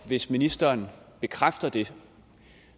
hvis ministeren bekræfter det